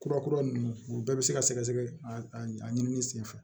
Kura kura ninnu u bɛɛ bɛ se ka sɛgɛsɛgɛ a ɲini senfɛ